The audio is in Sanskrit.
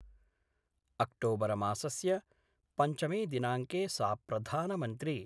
अक्टोबरमासस्य पञ्चमे दिनाङ्के सा प्रधानमन्त्री